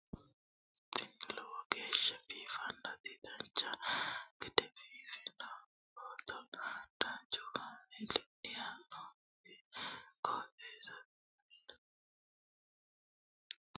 tini lowo geeshsha biiffannoti dancha gede biiffanno footo danchu kaameerinni haa'noonniti qooxeessa biiffannoti tini kultannori maatiro seekkine la'niro biiffannota faayya ikkase kultannoke misileeti yaate